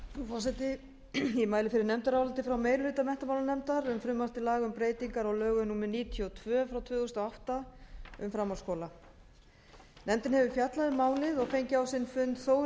forseti ég mæli fyrir nefndaráliti frá meiri hluta menntamálanefndar um frumvarp til laga um breytingar á lögum númer níutíu og tvö tvö þúsund og átta um framhaldsskóla nefndin hefur fjallað um málið og fengið á sinn fund þóri